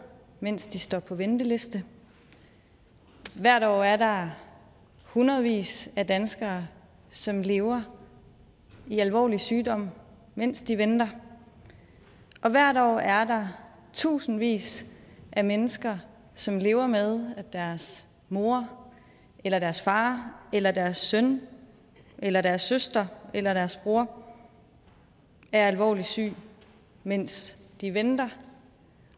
mens de står på venteliste hvert år er der hundredvis af danskere som lever med alvorlig sygdom mens de venter og hvert år er der tusindvis af mennesker som lever med at deres mor eller deres far eller deres søn eller deres søster eller deres bror er alvorligt syg mens de venter